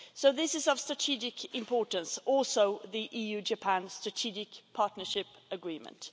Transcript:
This is of strategic importance, as is the EU Japan Strategic Partnership Agreement.